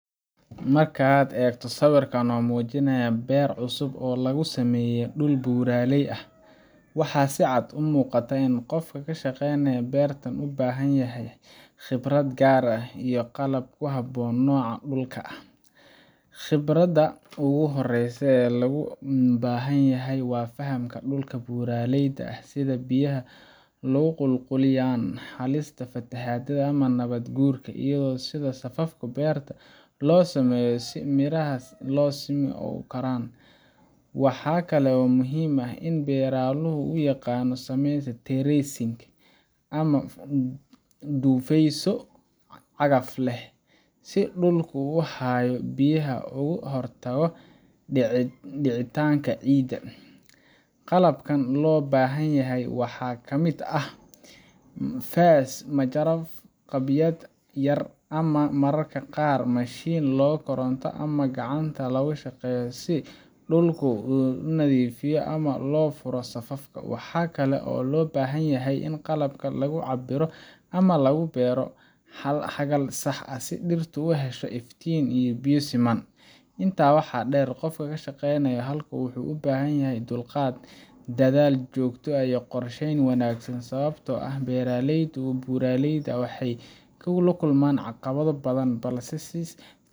Marka aad eegto sawirkan oo muujinaya beer cusub oo lagu sameeyay dhul buuraley ah, waxaa si cad u muuqata in qofka ka shaqaynaya beertan u baahan yahay khibrad gaar ah iyo qalab ku habboon noocan dhulka ah. Khibradda ugu horreysa ee loo baahanyahay waa fahamka dhulka buuraleyda ah – sida biyaha u qulqulayaan, halista fatahaadda ama nabaad-guurka, iyo sida safafka beerta loo sameeyo si miraha si siman u koraan. Waxaa kale oo muhiim ah in beeraluhu yaqaan sida loo sameeyo "terracing" ama dhufeysyo cagaf leh, si dhulku u hayo biyaha ugana hortago dhicitaanka ciidda. Qalabka loo baahan yahay waxa ka mid ah faas, majarafad, jabiyayaal yaryar, iyo mararka qaar mashiin yar oo koronto ama gacanta ku shaqeeya si dhulka loo nadiifiyo ama loo furo safafka. Waxaa kale oo loo baahan yahay qalab lagu cabbiro ama lagu beero xagal sax ah, si dhirtu u hesho iftiin iyo biyo siman. Intaa waxaa dheer, qofka ka shaqaynaya halkan wuxuu u baahan yahay dulqaad, dadaal joogto ah, iyo qorsheyn wanaagsan – sababtoo ah beeraleyda buuraleyda ah waxay la kulmaan caqabado badan, balse hadii si